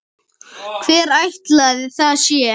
Hver ætli það sé?